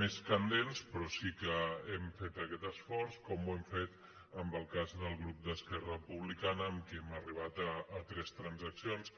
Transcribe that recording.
més candents però sí que hem fet aquest esforç com ho hem fet en el cas del grup d’esquerra republicana amb qui hem arribat a tres transaccions